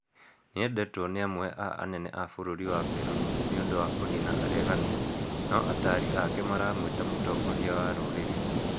Nĩendetwo nĩ amwe a anene a bũrũri wa Peru nĩũndũ wa kũnina areganĩ no ataari ake maramwĩta mũtongoria wa rũrĩrĩ